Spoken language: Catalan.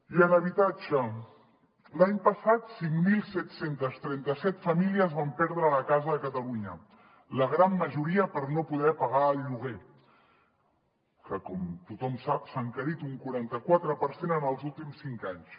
i en habitatge l’any passat cinc mil set cents i trenta set famílies van perdre la casa a catalunya la gran majoria per no poder pagar el lloguer que com tothom sap s’ha encarit un quaranta quatre per cent en els últims cinc anys